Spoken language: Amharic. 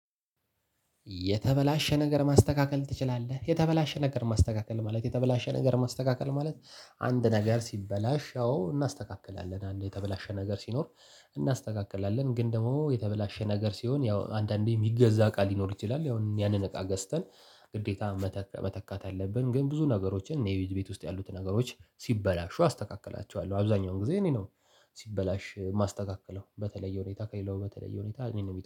የተበላሸ ነገር ማስተካከል ትችላለህ? የተበላሸ ነገር ማስተካከል ማለት የተበላሸ ነገር ማስተካከል ማለት አንድ ነገር ሲበላሽ ያው እናስተካክላለን አንድ የተበላሸ ነገር ሲኖር። እናስተካክላለን ግን ደሞ የተበላሸ ነገር ሲሆን ያው አንዳንዴ እሚገዛ ቃል ሊኖር ይችላል ያው ያንን እቃ ገዝተን ግዴታ መተካት አለብን። ግን ብዙ ነገሮችን እኔ ቤት ውስጥ ያሉት ነገሮች ሲበላሹ አስተካክላቸዋለሁ አብዛኛውን ጊዜ እኔ ነው። ሲበላሽ እማስተካከለው በተለየ ሁኔታ ከሌለው በተለየ ሁኔታ እኔን ነው